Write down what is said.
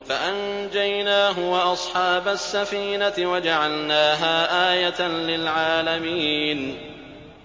فَأَنجَيْنَاهُ وَأَصْحَابَ السَّفِينَةِ وَجَعَلْنَاهَا آيَةً لِّلْعَالَمِينَ